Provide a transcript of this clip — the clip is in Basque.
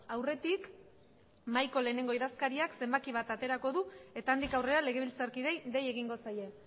aurretik mahaiko lehen idazkariak zenbaki bat aterako du eta handik aurrera legebiltzarkideei dei egingo zaie